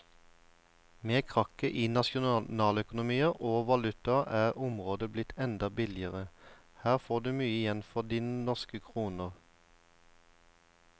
Med krakket i nasjonaløkonomier og valutaer er området blitt enda billigere, her får du mye igjen for dine norske kroner.